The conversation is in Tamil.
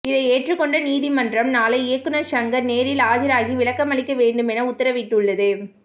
இதை ஏற்றுக் கொண்ட நீதிமன்றம் நாளை இயக்குனர் ஷங்கர் நேரில் ஆஜராகி விளக்கமளிக்க வேண்டுமென உத்தரவிட்டுள்ளது